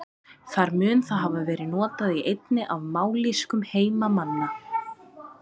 Þar mun það hafa verið notað í einni af mállýskum heimamanna.